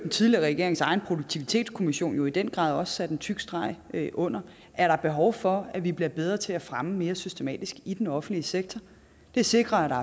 tidligere regerings egen produktivitetskommission i øvrigt jo i den grad også satte en tyk streg under er der behov for at vi bliver bedre til at fremme mere systematisk i den offentlige sektor det sikrer at der